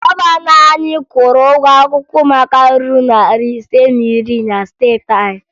Gọvanọ anyị kwụrụ ụgwọ akwụkwọ ụmụaka ruru narị ise na iri na steeti anyị